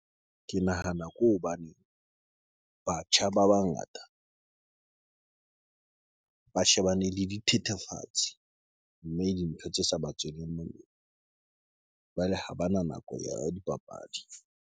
Ke nahana ke hobane batjha ba bangata ba shebane le dithethefatsi, mme dintho tse sa ba tsweleng molemo jwale ha bana nako ya dipapadi.